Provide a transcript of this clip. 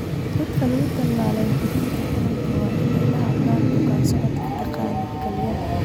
Dadka lagu tallaalay xubinta taranka waa inay la hadlaan bukaan-socod-yaqaannada kalyaha.